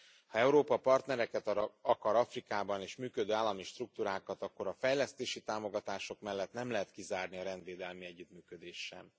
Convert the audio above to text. Ha Európa partnereket akar Afrikában és működő állami struktúrákat, akkor a fejlesztési támogatások mellett nem lehet kizárni a rendvédelmi együttműködést sem.